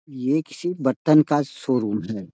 ये किसी बर्तन का शो-रूम है।